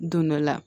Don dɔ la